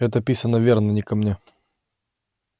это писано верно не ко мне